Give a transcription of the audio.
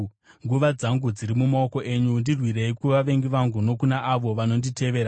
Nguva dzangu dziri mumaoko enyu; ndirwirei kuvavengi vangu nokuna avo vanonditeverera.